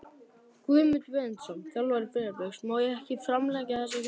Guðmundur Benediktsson, þjálfari Breiðabliks Má ekki bara framlengja þessa keppni?